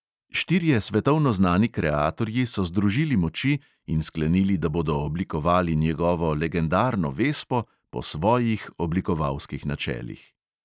Štirje svetovno znani kreatorji so združili moči in sklenili, da bodo oblikovali njegovo legendarno vespo po svojih oblikovalskih načelih.